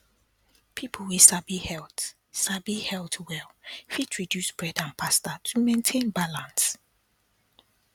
people wey sabi health sabi health well fit reduce bread and pasta to maintain balance